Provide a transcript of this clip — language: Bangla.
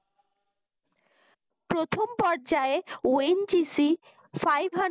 প্রথম পর্যায় ONGCfive hundred